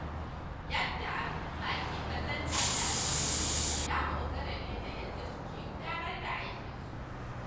Yadda al’umma ke kallon jami'an tsaro ya dogara ne da yadda suke gudanar da aikinsu.